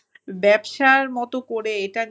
ব্যবসার মত করে এটা